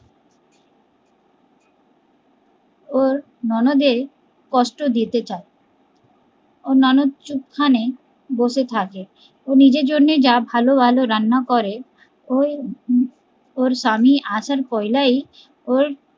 ওর ননদের কষ্ট দিতে চায়, ওর ননদ চুপখানে বসে থাকে, ও নিজের জন্য যা ভালো ভালো রান্না করে, ওর স্বামী আসার পয়লাই